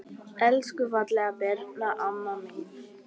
Elsku fallega Birna amma mín.